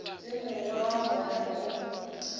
le mongwe wa bona o